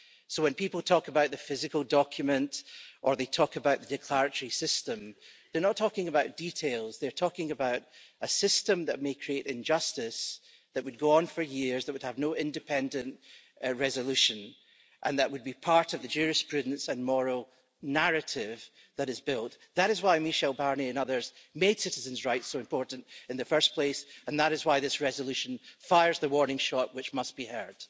So when people talk about the physical document or they talk about the declaratory system, they're not talking about details they're talking about a system that may create injustice that would go on for years, that would have no independent resolution and that would be part of the jurisprudence and moral narrative that is built. That is why Michel Barnier and others made citizens' rights so important in the first place, and that is why this resolution fires the warning shot, which must be heard.